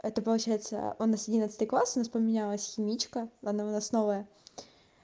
это получается у нас одиннадцатый класс у нас поменялась химичка она у нас новая